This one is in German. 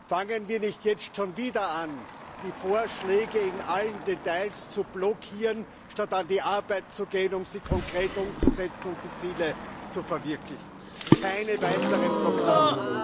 Fangen wir nicht jetzt schon wieder an, die Vorschläge in allen Details zu blockieren, statt an die Arbeit zu gehen, um sie konkret umzusetzen und die Ziele zu verwirklichen. Keine weiteren Blockaden!